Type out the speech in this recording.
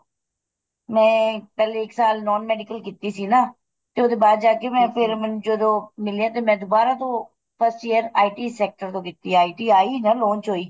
ਮੈਂ ਪਹਿਲੇ ਇੱਕ ਸਾਲ non medical ਕੀਤੀ ਸੀ ਨਾ ਤੇ ਉਹਦੇ ਬਾਅਦ ਜਾ ਕੇ ਮੈਂ ਫ਼ੇਰ ਜਦੋਂ ਮਿਲੇ ਤੇ ਮੈਂ ਦੁਬਾਰਾ ਤੋਂ first year IT sector ਤੋਂ ਕੀਤੀ ਏ ITI launch ਹੋਈ